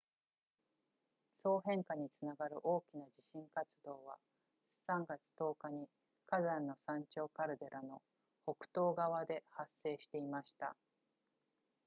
相変化につながる大きな地震活動は3月10日に火山の山頂カルデラの北東側で発生していました